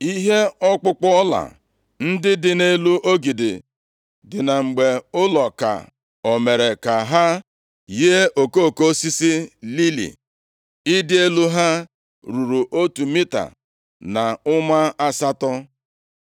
Ihe ọkpụkpụ ọla ndị dị nʼelu ogidi dị na mgbe ụlọ ka o mere ka ha yie okoko osisi lili. Ịdị elu ha ruru otu mita na ụma asatọ.